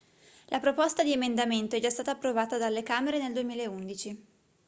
la proposta di emendamento è già stata approvata dalle camere nel 2011